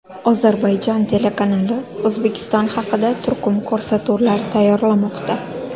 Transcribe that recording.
Ozarbayjon telekanali O‘zbekiston haqida turkum ko‘rsatuvlar tayyorlamoqda.